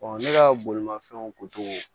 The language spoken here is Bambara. ne ka bolimafɛnw